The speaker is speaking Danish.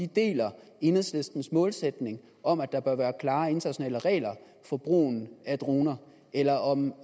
deler enhedslistens målsætning om at der bør være klare internationale regler for brugen af droner eller om